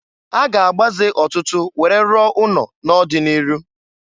A ga-agbaze ọtụtụ were rụọ ụnọ n'ọdị n'iru.